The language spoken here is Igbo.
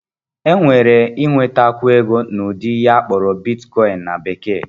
Enwere ịnwetakwu ego n'ụdị ihe akpọrọ Bitkọịn na Bekee